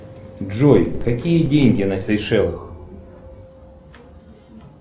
джой какие деньги на сейшелах